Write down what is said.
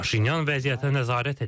Paşinyan vəziyyətə nəzarət edir.